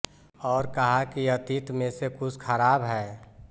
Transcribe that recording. और कहा कि अतीत में से कुछ खराब है